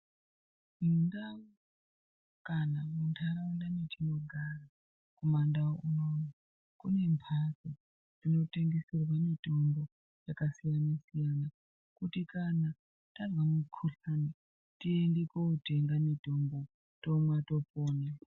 Mundau kana muntaraunda mwetinogara kuma ndau unono kune mhatso dzinotengeserwa mutombo yakasiyana siyana kuti kana tazwa mukhuhlani tiende kotenga mutombo tomwa topona.